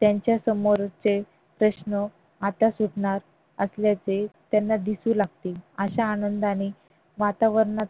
त्यांचा समोरचे प्रश्न आता सुटणार असल्याचे त्यांना दिसू लागते. अशा आनंदाने वातावरणात